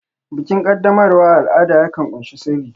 Bikin qaddamarwa al'ada yakan ƙunshi sirri